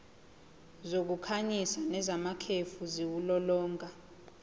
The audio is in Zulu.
zokukhanyisa nezamakhefu ziwulolonga